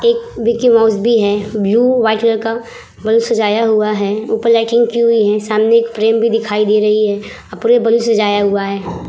एक Mickey Mouse भी हैं। ब्लू व्हाइट कलर का बैलून सजाया हुआ हैं। ऊपर लाइटिंग की हुई हैं। सामने एक फ्रेम भी दिखाई दे रही हैं। अ पूरे बैलून सजाया हुआ हैं।